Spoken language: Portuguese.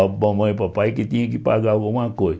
A mamãe e o papai que tinham que pagar alguma coisa.